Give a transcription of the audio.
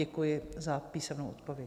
Děkuji za písemnou odpověď.